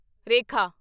ਰੇਖਾ